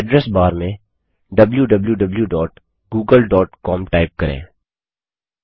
address bar में wwwgooglecom type करें